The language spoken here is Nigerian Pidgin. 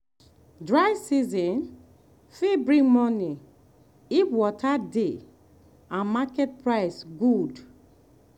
dry season fit bring money if water dey and market price good.